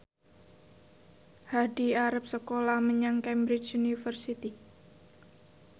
Hadi arep sekolah menyang Cambridge University